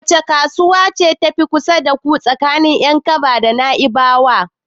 Wace kasuwa ce ta fi kusa da ku tsakanin Yankaba da Naibawa?